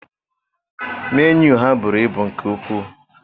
Menu ha buru ibu nke ukwu.